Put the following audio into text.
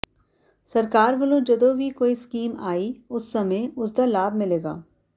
ਸਰਕਾਰ ਵੱਲੋਂ ਜਦੋਂ ਵੀ ਕੋਈ ਸਕੀਮ ਆਈ ਉਸ ਸਮੇਂ ਉਸ ਦਾ ਲਾਭ ਮਿਲੇਗਾ